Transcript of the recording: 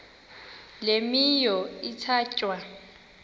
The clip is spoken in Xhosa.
le milo ithatya